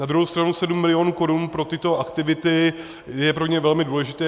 Na druhou stranu sedm milionů korun pro tyto aktivity je pro ně velmi důležité.